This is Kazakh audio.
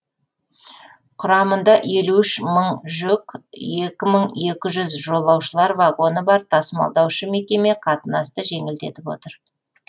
құрамында елу үш мың жүк екі мың екі жолаушылар вагоны бар тасымалдаушы мекеме қатынасты жеңілдетіп отыр